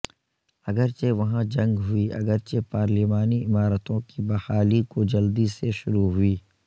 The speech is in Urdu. اگرچہ وہاں جنگ ہوئی اگرچہ پارلیمانی عمارتوں کی بحالی کو جلدی سے شروع ہوئی